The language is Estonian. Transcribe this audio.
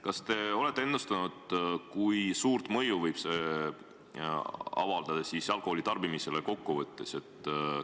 Kas te olete ennustanud, kui suurt mõju võib see kokkuvõttes avaldada alkoholitarbimisele?